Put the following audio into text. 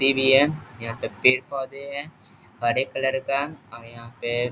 यहाँ पे पेड़-पौधे है हरे कलर का हम यहाँ पे --